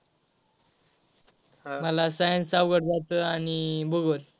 मला science अवघड जात आणि भूगोल.